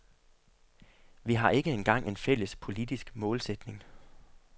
Vi har ikke engang en fælles politisk målsætning.